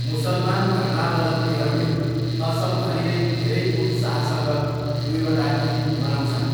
मुसलमान धर्मावलम्बीहरूले असमभरि नै धेरै उत्साहसँग दुईवटा इद मनाउँछन्।